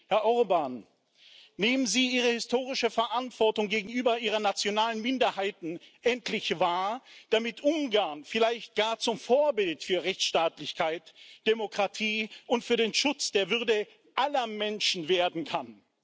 Herr Orbán, nehmen Sie Ihre historische Verantwortung gegenüber Ihren nationalen Minderheiten endlich wahr, damit Ungarn vielleicht gar zum Vorbild für Rechtsstaatlichkeit, Demokratie und für den Schutz der Würde aller Menschen werden kann!